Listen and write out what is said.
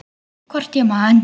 Hvort ég man.